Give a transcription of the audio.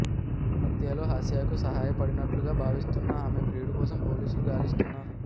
హత్యలో హాసియాకు సాయపడినట్లుగా భావిస్తున్న ఆమె ప్రియుడి కోసం పోలీసులు గాలిస్తున్నారు